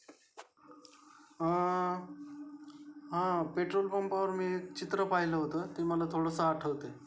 अ हा पेट्रोल पम्पा वर मी चित्र पाहिलं होत ते मला थोडस आठवते.